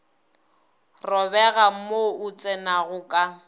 robega mo o tsenago ka